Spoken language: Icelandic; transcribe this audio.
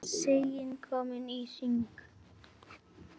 Sagan komin í hring.